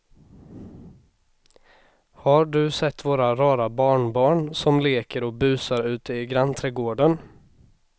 Har du sett våra rara barnbarn som leker och busar ute i grannträdgården!